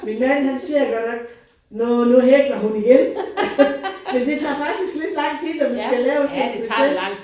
Min man siger godt nok nåh nu hækler hun igen. Men det tager faktisk lidt lang tid når man skal lave sådan et bestemt